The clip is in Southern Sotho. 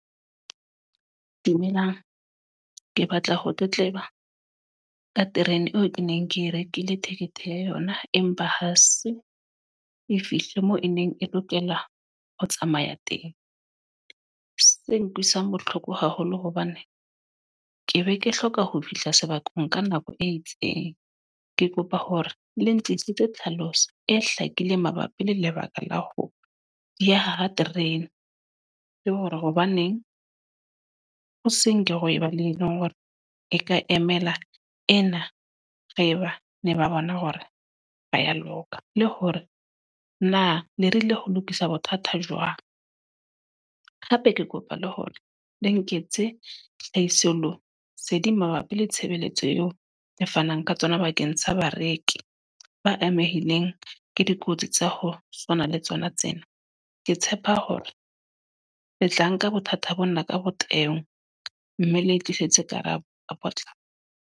Dumelang. Ke batla ho tletleba, ka terene eo ke neng ke e rekile ticket ya yona. Empa ha se e fihle moo e neng e lokela ho tsamaya teng. Se nkutlwisang bohloko haholo hobane, ke be ke hloka ho fihla sebakeng ka nako e itseng. Ke kopa hore le ntlisitse tlhaloso, e hlakileng mabapi le lebaka la ho ya ha terene. Le hore hobaneng hosenke ho eba le ena hore e ka emela ena. Re ba ne ba bona hore ba ya loka. Le hore na lerile ho lokisa bothata jwang. Hape ke kopa le hore le nketse hlahisoleseding mabapi le tshebeletso eo le fanang ka tsona bakeng sa bareki, ba amehileng ke dikotsi tsa ho tshwana le tsona tsena. Ke tshepa hore le tla nka bothata bo na ka botebo, mme ke tlisetswe karabo ka potlako.